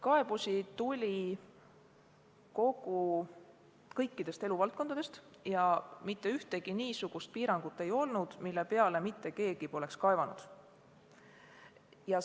Kaebusi tuli kõikidest eluvaldkondadest ja ei olnud ühtegi niisugust piirangut, mille peale mitte keegi poleks kaevanud.